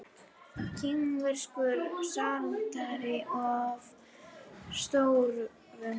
kínverskur slátrari að störfum